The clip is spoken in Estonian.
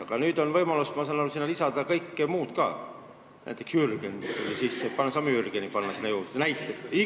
Aga nüüd on võimalus, ma saan aru, sinna lisada kõike muud ka, näiteks võib "Jürgeni" sisse panna, saame "Jürgeni" panna sinna juurde, näiteks.